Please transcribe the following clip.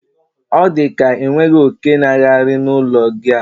odika inweghi oke n'aghari na ulo gi a